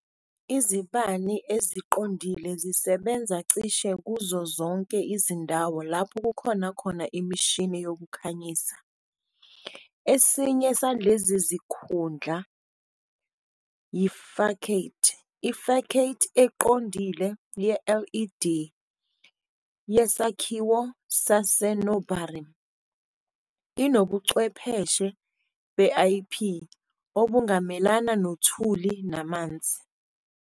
Izibani eziqondile zisebenza cishe kuzo zonke izindawo lapho kukhona khona imishini yokukhanyisa. Esinye salezi zikhundla yi-facade, i-facade EQONDILE YE-led yesakhiwo sasenorabin inobuchwepheshe be-ip obungamelana nothuli namanzi.